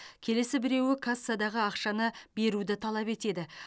келесі біреуі кассадағы ақшаны беруді талап етеді